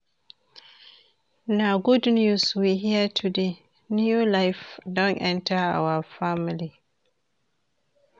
Na good news we hear today, new life don enter our family.